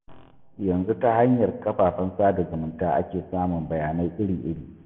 Yanzu ta hanyar kafafen sada zumunta ake samun bayanai iri-iri.